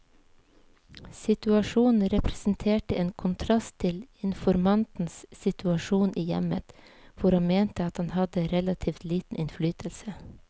Situasjonen representerte en kontrast til informantens situasjon i hjemmet, hvor han mente at han hadde relativt liten innflytelse.